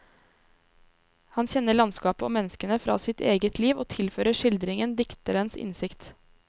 Han kjenner landskapet og menneskene fra sitt eget liv og tilfører skildringen dikterens innsikt.